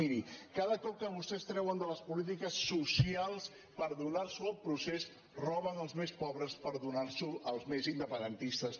miri cada cop que vostès treuen de les polítiques socials per donar ho al procés roben als més pobres per donar ho al més independentistes